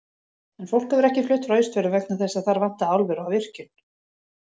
En fólk hefur ekki flutt frá Austfjörðum vegna þess að þar vantaði álver og virkjun.